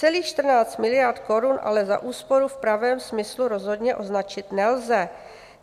Celých 14 miliard korun ale za úsporu v pravém smyslu rozhodně označit nelze.